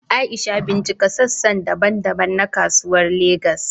Aisha, bincika sassa daban-daban na Kasuwar Legas.